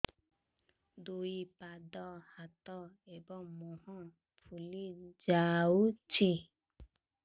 ଦୁଇ ପାଦ ହାତ ଏବଂ ମୁହଁ ଫୁଲି ଯାଉଛି